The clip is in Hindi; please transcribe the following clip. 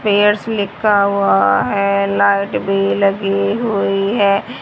पेयरस लिखा हुआ है लाइट भी लगी हुई है।